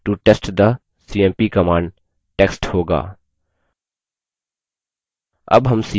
इसमें this is a unix file to test the cmp command text होगा